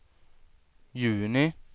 juni